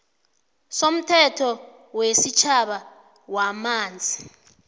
somthetho wesitjhaba wamanzi